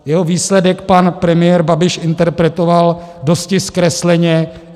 Jeho výsledek pan premiér Babiš interpretoval dosti zkresleně.